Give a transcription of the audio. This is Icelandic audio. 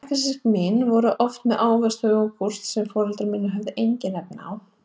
Bekkjarsystkini mín voru oft með ávexti og jógúrt sem foreldrar mínir höfðu engin efni á.